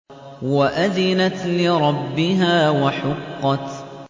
وَأَذِنَتْ لِرَبِّهَا وَحُقَّتْ